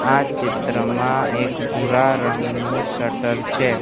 આ ચિત્રમાં એક ભૂરા રંગનું શટર છે.